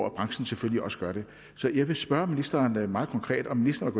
at branchen selvfølgelig også gør det så jeg vil spørge ministeren meget konkret om ministeren